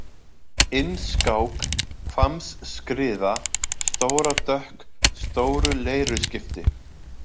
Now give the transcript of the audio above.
Innskák, Hvammsskriða, Stóradökk, Stóru-Leiruskipti